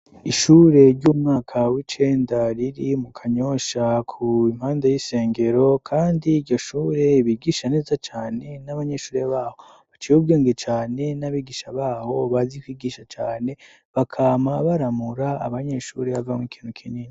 Ishure ry'umwaka w'icenda riri mu Kanyosha impande y'isengero kandi iyo shure ibigisha neza cane n'abanyeshure babo baciye ubwenge cane n'abigisha babo bazi kwigisha cane bakama baramura abanyeshure avamwo ikintu kinini.